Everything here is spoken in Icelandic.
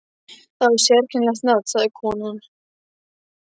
Það var sérkennilegt nafn, sagði konan.